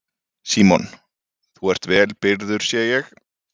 Símon: Þú ert vel byrgður sé ég?